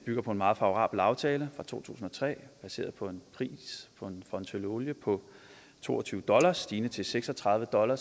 bygger på en meget favorabel aftale fra to tusind og tre baseret på en pris for en tønde olie på to og tyve dollar stigende til seks og tredive dollar